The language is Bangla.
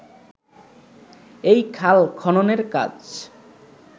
এই খাল খননের কাজ